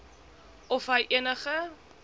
of hy enige